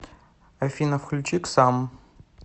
афина включи ксамм